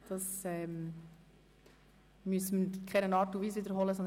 Wir müssen diese Abstimmung nicht wiederholen;